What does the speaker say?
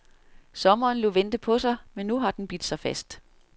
Sommeren lod vente på sig, men nu har den bidt sig fast.